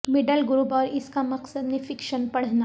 middle group اور اس کا مقصد میں فکشن پڑھنا